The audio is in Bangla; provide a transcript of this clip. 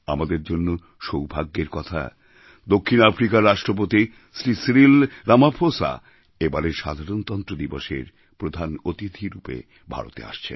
আমাদের জন্য সৌভাগ্যের কথা দক্ষিণ আফ্রিকার রাষ্ট্রপতি শ্রী সিরিল রামাফোসা এবারের সাধারণতন্ত্র দিবসের প্রধান অতিথি রূপে ভারতে আসছেন